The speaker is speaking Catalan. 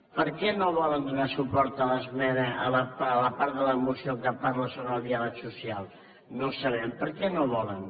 per què no volen donar suport a l’esmena a la part de la moció que parla sobre el diàleg social no ho sabem per què no ho volen